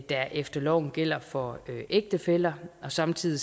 der efter loven gælder for ægtefæller samtidig